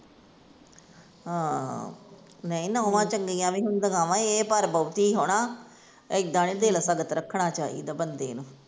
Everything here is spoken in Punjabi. ਹਾਂ, ਨਹੀਂ ਨੌਵਾਂ ਚੰਗੀਆਂ ਵੀ ਹੁੰਦੀਆਂ ਵਾ ਇਹ ਪਰ ਬਹੁਤੀ ਹੀ ਹਣਾ, ਇੱਦਾਂ ਨੀ ਦਿਲ ਸਖ਼ਤ ਰੱਖਣਾ ਚਾਹੀਦਾ ਬੰਦੇ ਨੂੰ।